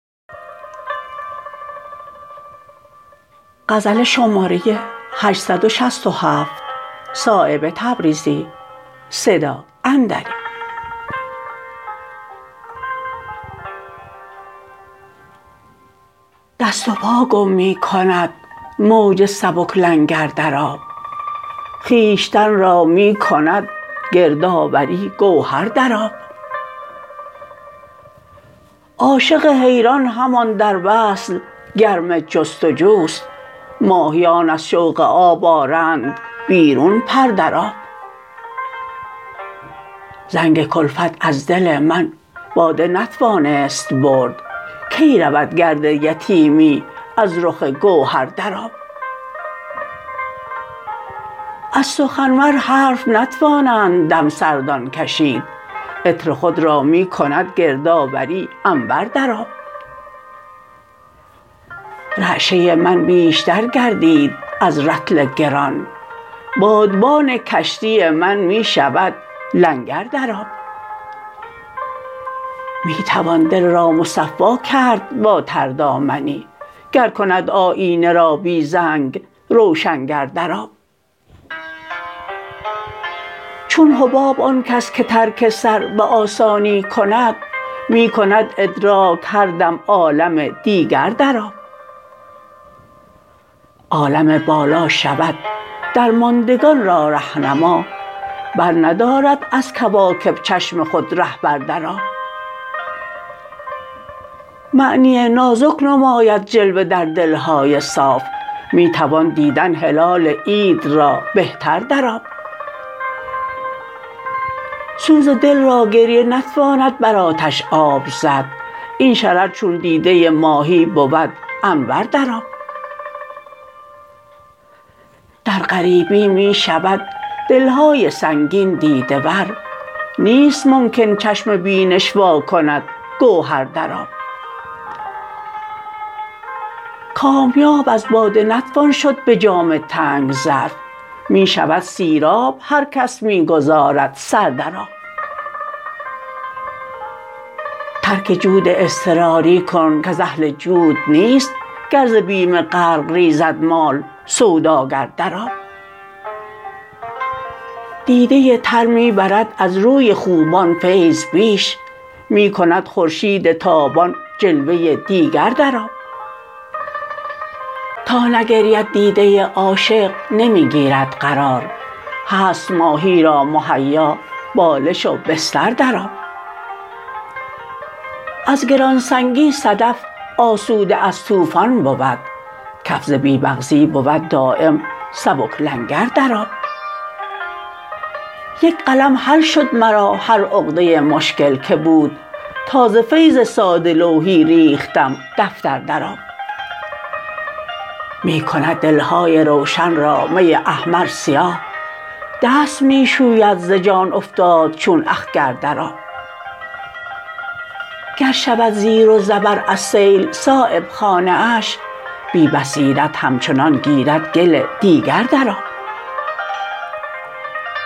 دست و پا گم می کند موج سبک لنگر در آب خویشتن را می کند گردآوری گوهر در آب عاشق حیران همان در وصل گرم جستجوست ماهیان از شوق آب آرند بیرون پر در آب زنگ کلفت از دل من باده نتوانست برد کی رود گرد یتیمی از رخ گوهر در آب از سخنور حرف نتوانند دمسردان کشید عطر خود را می کند گردآوری عنبر در آب رعشه من بیشتر گردید از رطل گران بادبان کشتی من می شود لنگر در آب می توان دل را مصفا کرد با تردامنی گر کند آیینه را بی زنگ روشنگر در آب چون حباب آن کس که ترک سر به آسانی کند می کند ادراک هر دم عالم دیگر در آب عالم بالا شود درماندگان را رهنما برندارد از کواکب چشم خود رهبر در آب معنی نازک نماید جلوه در دلهای صاف می توان دیدن هلال عید را بهتر در آب سوز دل را گریه نتواند بر آتش آب زد این شرر چون دیده ماهی بود انور در آب در غریبی می شود دلهای سنگین دیده ور نیست ممکن چشم بینش وا کند گوهر در آب کامیاب از باده نتوان شد به جام تنگ ظرف می شود سیراب هر کس می گذارد سر در آب ترک جود اضطراری کن کز اهل جود نیست گر ز بیم غرق ریزد مال سوداگر در آب دیده تر می برد از روی خوبان فیض بیش می کند خورشید تابان جلوه دیگر در آب تا نگرید دیده عاشق نمی گیرد قرار هست ماهی را مهیا بالش و بستر در آب از گرانسنگی صدف آسوده از طوفان بود کف ز بی مغزی بود دایم سبک لنگر در آب یکقلم حل شد مرا هر عقده مشکل که بود تا ز فیض ساده لوحی ریختم دفتر در آب می کند دلهای روشن را می احمر سیاه دست می شوید ز جان افتاد چون اخگر در آب گر شود زیر و زبر از سیل صایب خانه اش بی بصیرت همچنان گیرد گل دیگر در آب